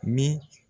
Min